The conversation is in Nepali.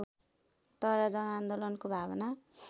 तर जनआन्दोलनको भावना